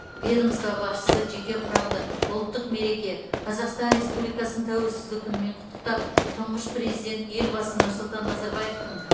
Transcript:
ведомство басшысы жеке құрамды ұлттық мереке қазақстан республикасының тәуелсіздік күнімен құттықтап тұңғыш президент елбасы нұрсұлтан назарбаевтың